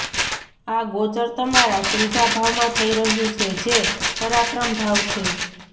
આ ગોચર તમારા ત્રીજા ભાવમાં થઈ રહ્યું છે જે પરાક્રમ ભાવ છે